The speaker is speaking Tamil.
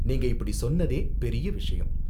நீங்க இப்படி சொன்னதே பெரிய விஷயம்.